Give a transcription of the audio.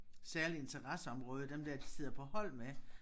Særlige interesseområder dem der de sidder på hold med